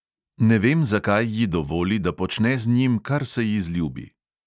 Ne vem, zakaj ji dovoli, da počne z njim, kar se ji zljubi.